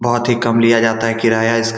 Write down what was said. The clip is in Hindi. बहोत ही कम लिया जाता है किराया इस --